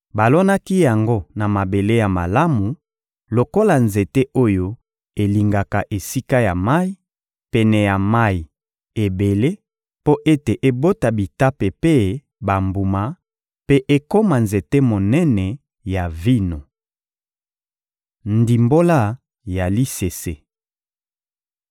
Balonaki yango na mabele ya malamu, lokola nzete oyo elingaka esika ya mayi, pene ya mayi ebele mpo ete ebota bitape mpe bambuma, mpe ekoma nzete monene ya vino.› Ndimbola ya lisese